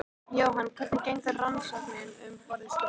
Jóhann: Hvernig gengur rannsóknin um borð í skipinu?